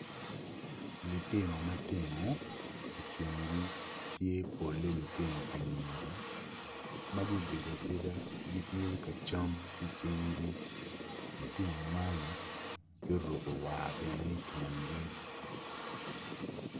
Litino matino i kingi tye pole litino anyira ma giobedo abeda gitye ka cam ki cingi litino man gioruku war bene ityengi